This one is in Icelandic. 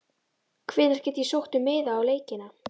Hvenær get ég sótt um miða á leikina?